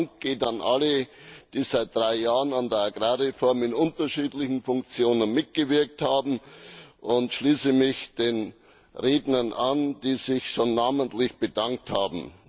Mein Dank geht an alle, die seit drei Jahren an der Agrarreform in unterschiedlichen Funktionen mitgewirkt haben, und ich schließe mich den Rednern an, die sich schon namentlich bedankt haben.